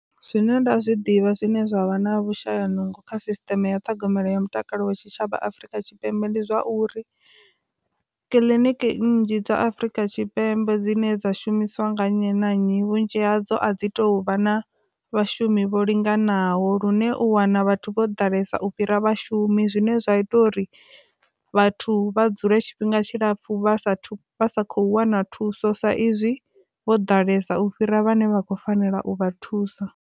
Zwine nda zwi ḓivha zwine zwavha na vhushaya nungo kha sisteme ya ṱhogomelo ya mutakalo wa tshitshavha Afrika Tshipembe ndi zwa uri, kiliniki nnzhi dza Afurika Tshipembe dzine dza shumiswa nga nnyi na nnyi vhunzhi hadzo a dzi tou vha na vhashumi hone vho linganaho lune u wana vhathu vho ḓalesa u fhira vhashumi, zwine zwa ita uri vhathu vha dzule tshifhinga tshilapfu vha sathu vha sa khou wana thuso sa izwi vho ḓalesa u fhira vhane vha khou fanela u vha thusa.